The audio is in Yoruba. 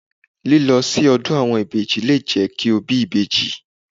Lílọ sí ọdún àwọn ìbejì le jẹ́ kí o bí ìbejì.